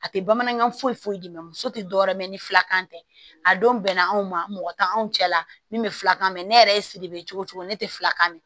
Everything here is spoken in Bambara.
A tɛ bamanankan foyi foyi foyi d'i ma muso tɛ dɔwɛrɛ ye mɛ ni filakan tɛ a don bɛnna anw ma mɔgɔ tɛ anw cɛla min bɛ filakan mɛn ne yɛrɛ ye sidibe cogo o cogo ne tɛ filakan mɛn